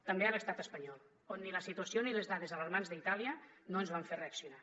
també a l’estat espanyol on ni la situació ni les dades alarmants d’itàlia no ens van fer reaccionar